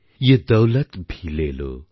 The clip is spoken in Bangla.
ইয়ে দৌলত ভি লে লো